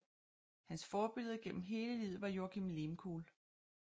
Hans forbillede gennem hele livet var Joakim Lehmkuhl